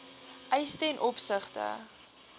eise ten opsigte